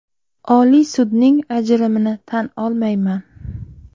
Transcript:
Oliy sudning ajrimini tan olmayman.